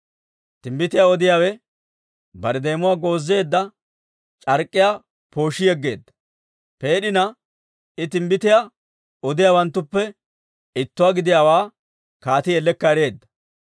Timbbitiyaa odiyaawe bare deemuwaa goozeedda c'ark'k'iyaa pooshshi yeggeedda. Peed'ina I timbbitiyaa odiyaawanttuppe ittuwaa gidiyaawaa kaatii ellekka ereedda.